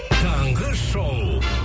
таңғы шоу